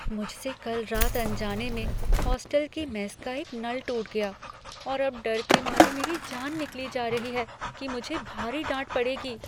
मुझसे कल रात अनजाने में होस्टल की मेस का एक नल टूट गया और अब डर के मारे मेरी जान निकली जा रही है कि मुझे भारी डांट पड़ेगी।